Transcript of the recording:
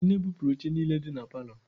Nne bupụrụ oche niile dị na palọ anyị.